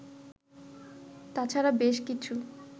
তাছাড়া বেশ কিছু